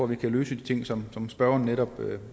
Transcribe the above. vi kan løse de ting som som spørgeren netop